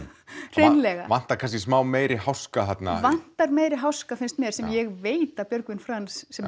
hreinlega já vantar kannski meiri háska þarna það vantar meiri háska finnst mér sem ég veit að Björgvin Franz sem